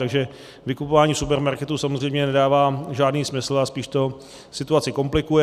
Takže vykupování supermarketů samozřejmě nedává žádný smysl a spíš to situaci komplikuje.